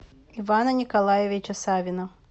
ивана николаевича савина